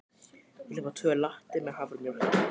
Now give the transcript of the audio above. Ég ætla að fá tvo latte með haframjólk.